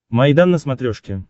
майдан на смотрешке